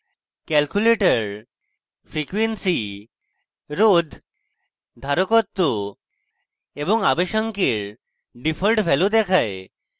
calculator frequency রোধ ধারকত্ব এবং আবেশাঙ্ক এর ডিফল্ট ভ্যালু দেখায়